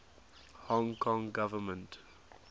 hong kong government